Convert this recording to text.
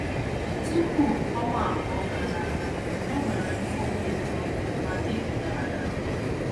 “ Tupu ọnwa abụọ gara aga, enwere m obi ụtọ ma dị gara gara.